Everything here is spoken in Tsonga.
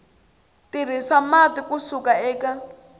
tirhisa mati ku suka eka